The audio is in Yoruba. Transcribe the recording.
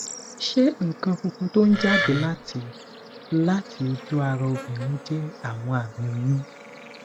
ṣé nkan funfun to n jade lati lati oju ara obirin je awon ami oyun